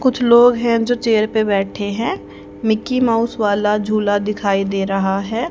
कुछ लोग हैं जो चेयर पर बैठे हैं मिकी माउस वाला झूला दिखाई दे रहा है।